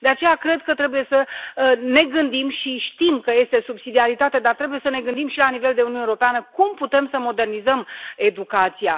De aceea, cred că trebuie să ne gândim și știm că este subsidiaritate, dar trebuie să ne gândim și la nivel de Uniune Europeană cum putem să modernizăm educația.